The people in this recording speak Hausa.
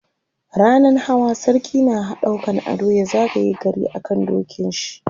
rannan Hawa sarki na ɗaukan ado ya zagaye gari a kan dokin shi